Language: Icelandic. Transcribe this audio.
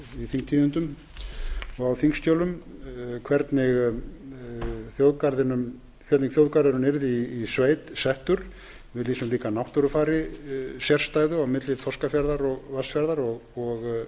þingtíðindum og á þingskjölum hvernig þjóðgarðurinn yrði í sveit settur við lýsum líka sérstæðu náttúrufari á milli þorskafjarðar og vatnsfjarðar og